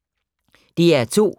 DR2